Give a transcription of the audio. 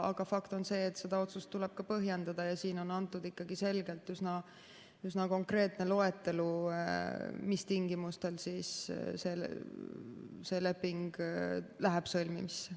Aga fakt on see, et seda otsust tuleb põhjendada ja siin on antud ikkagi selgelt üsna konkreetne loetelu, mis tingimustel see leping läheb sõlmimisse.